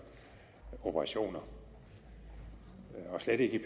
operationer og slet ikke i